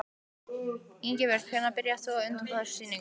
Ingibjörg, hvenær byrjaðir þú að undirbúa þessa sýningu?